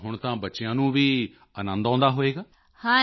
ਤਾਂ ਹੁਣ ਤਾਂ ਬੱਚਿਆਂ ਨੂੰ ਵੀ ਅਨੰਦ ਆਉਂਦਾ ਹੋਵੇਗਾ